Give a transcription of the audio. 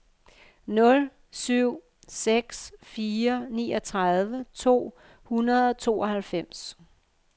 nul syv seks fire niogtredive to hundrede og tooghalvfems